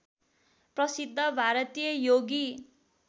प्रसिद्ध भारतीय योगी